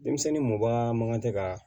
Denmisɛnnin mɔba man kan tɛ ka